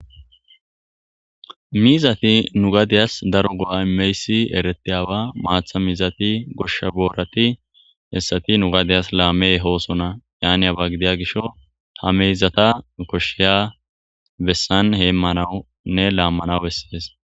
mizati nu gadiyas daro go7a imeysi eretiy awa maatha miizati goshsha boorati hessati nugadiyas laammey hoosona yani aba gidiya gisho ta meyzata koshsheya bessan heemmanaunne laammanaw bessees